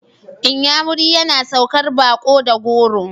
Inyamu yana saukar baƙo da goro.